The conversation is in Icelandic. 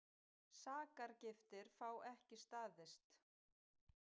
Sakargiftir fá ekki staðist